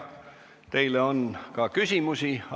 Teile on ka küsimusi.